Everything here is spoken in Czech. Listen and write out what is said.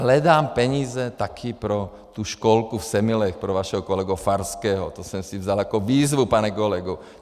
Hledám peníze taky pro tu školku v Semilech pro vašeho kolegu Farského, to jsem si vzal jako výzvu, pane kolego.